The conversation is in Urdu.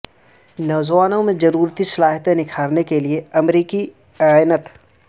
نوجوانوں میں ضروری صلاحیتیں نکھارنے کے لیے امریکی اعانت